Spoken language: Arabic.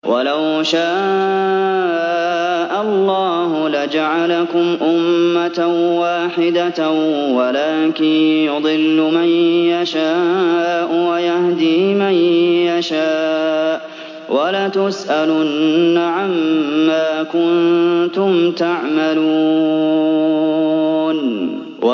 وَلَوْ شَاءَ اللَّهُ لَجَعَلَكُمْ أُمَّةً وَاحِدَةً وَلَٰكِن يُضِلُّ مَن يَشَاءُ وَيَهْدِي مَن يَشَاءُ ۚ وَلَتُسْأَلُنَّ عَمَّا كُنتُمْ تَعْمَلُونَ